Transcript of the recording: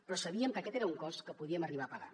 però sabíem que aquest era un cost que podíem arribar a pagar